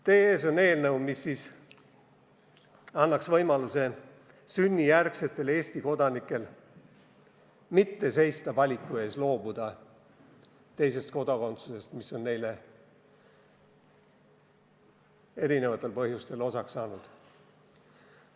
Teie ees on eelnõu, mis annaks sünnijärgsetele Eesti kodanikele võimaluse mitte seista valiku ees loobuda teisest kodakondsusest, mis on neile erinevatel põhjustel osaks saanud.